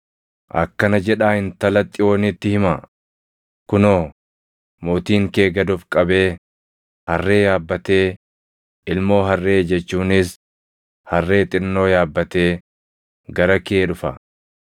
“Akkana jedhaa Intala Xiyoonitti himaa; ‘Kunoo, mootiin kee gad of qabee, harree yaabbatee, ilmoo harree jechuunis harree xinnoo yaabbatee, gara kee dhufa.’ ”+ 21:5 \+xt Zak 9:9\+xt*